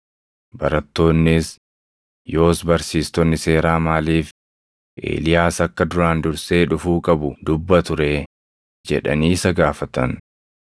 Barattoonnis, “Yoos barsiistonni seeraa maaliif Eeliyaas akka duraan dursee dhufuu qabu dubbatu ree?” jedhanii isa gaafatan.